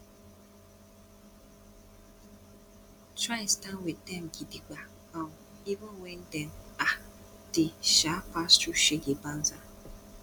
try stand wit dem gidigba um even wen dem um dey um pass thru shege banza